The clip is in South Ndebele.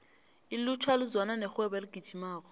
ilutjha lizwana nerhwebo eligijimako